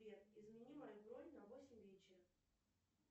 сбер измени мою бронь на восемь вечера